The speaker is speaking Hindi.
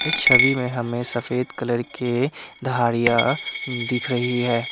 छवि में हमें सफेद कलर के धारियां दिख रही है।